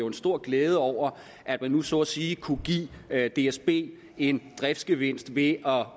en stor glæde over at man nu så at sige kunne give dsb en driftsgevinst ved at